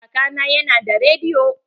Kaka na ya na da rediyo.